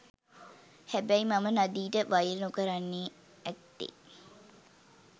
හැබැයි මම නදීට වෛර නොකරන්න ඇත්තෙ